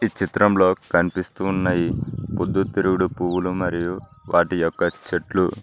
చిత్రంలో కనిపిస్తూ ఉన్నై పొద్దు తిరుగుడు పువ్వులు మరియు వాటి యొక్క చెట్లు.